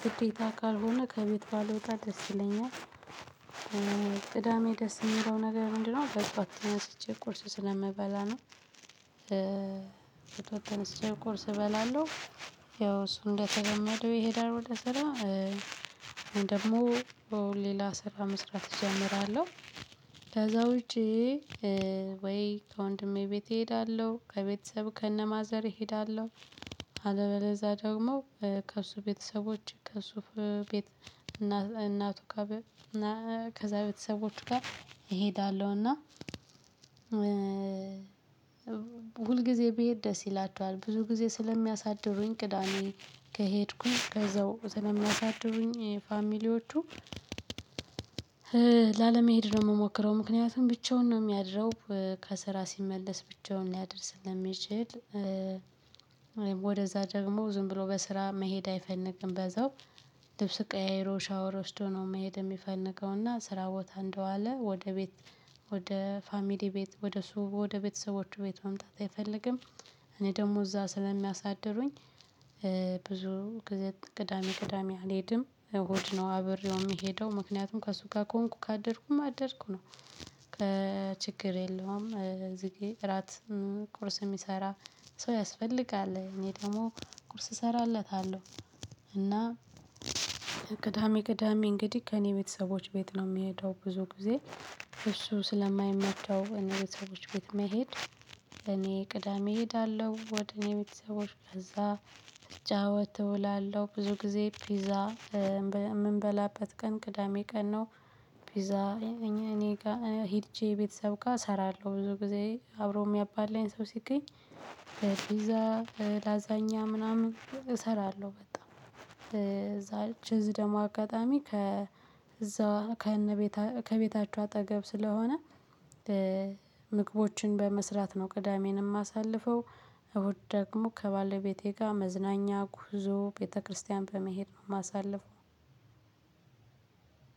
ግዴታ ካልሆነ ከቤት ባልወጣ ደስ ይለኛል። ቅዳሜ ደስ የሚለው ነገር ምንድነው? በጥዋት ተነስቼ ቁርስ ስለምበላ ነው። ወያው ተነስቼ ቁርስ እበላለሁ። ያው እሱ እንደተለመደው ይሄዳል ወደ ስራ። እኔ ደግሞ ሌላ ስራ መስራት እጀምራለው። ከዛ ውጪ ወይ ከወንድሜ ቤት እሄዳለሁ ከቤተሰብ ከነማዘር እሄዳለው። አለበለዝያ ደግሞ ከእሱ ቤተሰቦች ከእሱ ቤት። እናቱ ከዛ ቤተሰቦቹ ጋር እሄዳለውና እና ሁልጊዜ ብሄድ ደስ ይላችዋል ብዙ ጊዜ ስለሚያሳድሩኝ ቅዳሜ ከሄድኩኝ ከዛው ስለሚያሳድሩኝ ፋሚሊዎቹ። ላለመሄድ ነው የምሞክረው ምክንያቱም ብቻውን ነው የሚያድረው። ከስራ ሲመለስ ብቻውን ሊያደር ስለሚችል። ወደዛ ደግሞ ዝም ብሎ በስራ መሄድ አይፈልግም በዛው ልብስ ቀያይሮ ሻወር ወስዶ ነው መሄድ የሚፈልገው። እና ስራ ቦታ እንደዋለ ወደ ቤት ወደ ፋሚሊ ቤት ወደ እሱ ወደ ቤተሰቦቹ ቤት መምጣት አይፈልግም። እኔ ደግሞ እዛ ስለሚያሳድሩኝ ብዙ ጊዜ ቅዳሜ ቅዳሜ አልሄድም እሁድ ነው አብሬው የምሄደው። ምክንያቱም ከእሱ ጋር ከሆንኩ ካደርኩ እማ አደርኩ ነው። ችግር የለውም እዚጋር እራት ቁርስ የሚሰራ ሰው ያስፈልጋል እኔ ደግሞ ቁርስ እሰራለታለሁ። እና ቅዳሜ ቅዳሜ እንግዲህ ከእኔ ቤተሰቦች ቤት ነው የምሄደው። ብዙ ጊዜ እሱ ስለማይመቸው እኔ ቤተሰቦች ቤት መሄድ እኔ ቅዳሜ እሄዳለሁ። ወደ እኔ ቤተሰቦች ከዛ ስጫወት እውላለው ብዙ ጊዜ ፒዛ የምንበላበት ቀን ቅዳሜ ቀን ነው። ፒዛ እኔ ጋር ሄጄ ቤተሰብ ጋር እሰራለው ብዙ ጊዜ አብሮኝ የምያባላኝ ሰው ሲገኝ። በፒዛ ላዛኛ ምናምን እሰራለሁ በጣም እዛች እዚ ደግሞ አጋጣሚ ከ እዛው ከእነ ቤት ከቤታቸው አጠገብ ስለሆነ። ምግቦችን በመስራት ነው ቅዳሜንም የማሳልፈው። እሁድ ደግሞ ከባለቤቴ ጋር መዝናኛ ጉዞ ቤተክርስቲያን በመሄድ ነው የማሳልፈው።